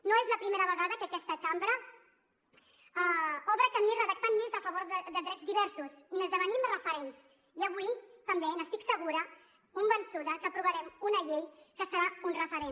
no és la primera vegada que aquesta cambra obre camí redactant lleis a favor de drets diversos i n’esdevenim referents i avui també n’estic segura convençuda que aprovarem una llei que serà un referent